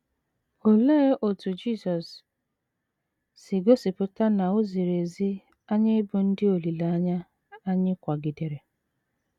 Olee otú Jisọs si gosipụta na o ziri ezi anyị ịbụ ndị olileanya anyị kwagidere?